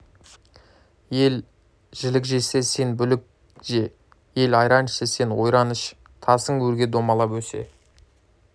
ел жілік жесе сен бүлік же ел айран ішсе сен ойран іш тасың өрге домалап өсе